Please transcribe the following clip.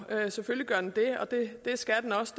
jo selvfølgelig gør den det og det skal den også